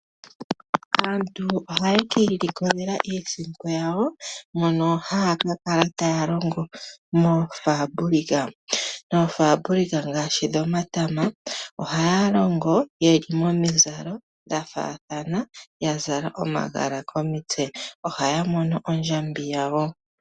Aantu ohaye kiilikolela iisimpo yawo. Mono haya ka kala taya longo moofaabulika . Moofaabulika ngaashi dhomatama. Ohaya longo yeli momizalo dhafaathana ya zala omagala komitse. Ohaya mono ondjambi yawo.